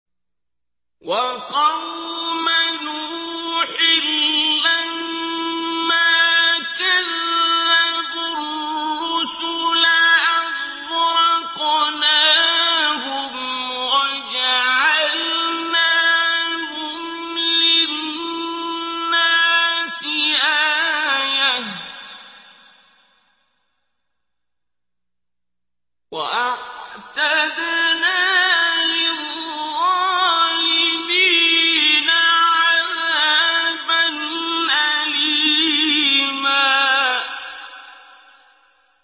وَقَوْمَ نُوحٍ لَّمَّا كَذَّبُوا الرُّسُلَ أَغْرَقْنَاهُمْ وَجَعَلْنَاهُمْ لِلنَّاسِ آيَةً ۖ وَأَعْتَدْنَا لِلظَّالِمِينَ عَذَابًا أَلِيمًا